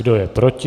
Kdo je proti?